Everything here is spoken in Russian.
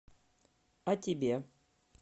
о тебе